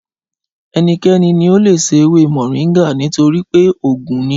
Ẹnikẹ́ni ní o leè se ewé mòríngà nítorípé oògùn ni